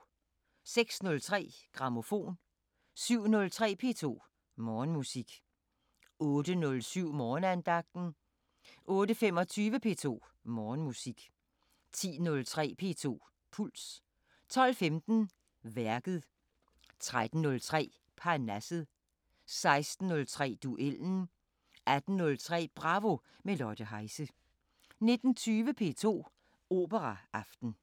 06:03: Grammofon 07:03: P2 Morgenmusik 08:07: Morgenandagten 08:25: P2 Morgenmusik 10:03: P2 Puls 12:15: Værket 13:03: Parnasset 16:03: Duellen 18:03: Bravo – med Lotte Heise 19:20: P2 Operaaften